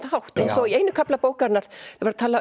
hátt eins og í einum kafla bókarinnar